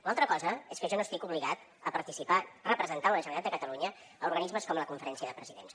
l’altra cosa és que jo no estic obligat a participar representant la generalitat de catalunya a organismes com la conferència de presidents